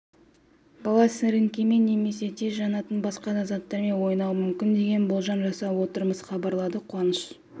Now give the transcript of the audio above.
бала сіріңкемен немесе тез жанатын басқа да заттармен ойнауы мүмкін деген болжам жасап отырмыз хабарлады қуаныш